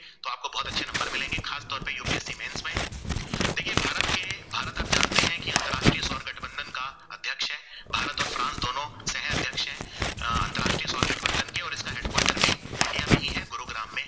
अ अन्तराष्ट्रीय सोर गठबंधन की और इसका headquarter भी इंडिया में ही है गुरुग्राम में